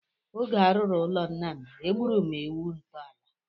Oge a rụrụ ụlọ nna m, e gburu ewu ntọala.